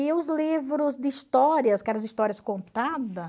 E os livros de histórias, aquelas histórias contadas,